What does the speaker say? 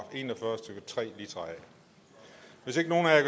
en og fyrre stykke tre litra